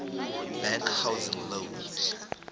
bank housing loans